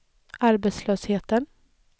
arbetslösheten